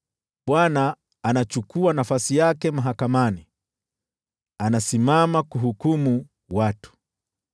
Bwana anachukua nafasi yake mahakamani, anasimama kuhukumu watu.